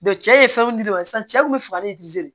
cɛ ye fɛn di ne ma sisan cɛ kun bɛ fagali